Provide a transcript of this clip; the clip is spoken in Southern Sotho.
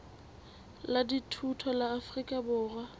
la dithuto la afrika borwa